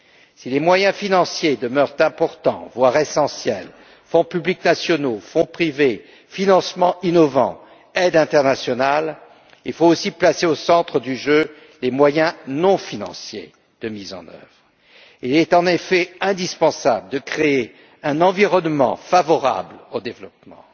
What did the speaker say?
Si les moyens financiers demeurent importants, voire essentiels fonds publics nationaux, fonds privés, financements innovants, aides internationales nous devons aussi placer au centre du jeu les moyens non financiers de mise en œuvre. Il est en effet indispensable de créer un environnement favorable au développement,